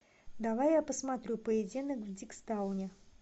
давай я посмотрю поединок в диггстауне